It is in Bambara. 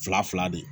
Fila fila de